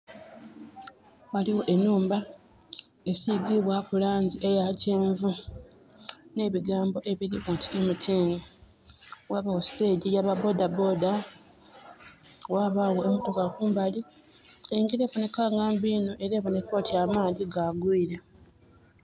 Ghaligho enhumba esigiibwaku langi eya kyenvu, nh'ebigambo ebiliku nti MTN. Ghabagho stage ya ba bodaboda, ghabagho emotoka kumbali. Engjira eboneka nga mbi inho, era eboneka oti amaadhi ga gwiire.